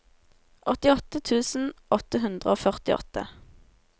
åttiåtte tusen åtte hundre og førtiåtte